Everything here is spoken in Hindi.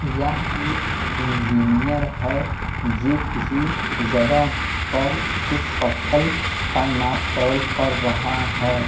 यह एक इंजीनियर है जो किसी जगह पर कुछ पत्थर का नाप तोल कर रहा हैं।